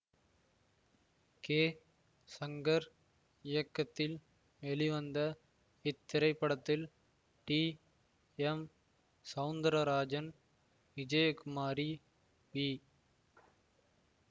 K Shankar இயக்கத்தில் வெளிவந்த இத்திரைப்படத்தில் T M Soundararajan Vijayakumari we